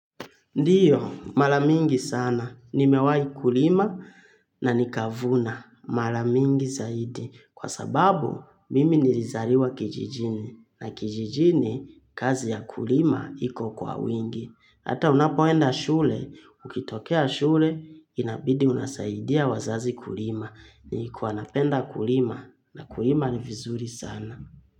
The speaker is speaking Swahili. Ndiyo, mara mingi sana. Nimewahi kulima na nikavuna. Mara mingi zaidi. Kwa sababu, mimi nilizaliwa kijijini. Na kijijini, kazi ya kulima iko kwa wingi. Hata unapoenda shule. Ukitokea shule, inabidi unasaidia wazazi kulima. Nilikuwa napenda kulima. Na kulima ni vizuri sana.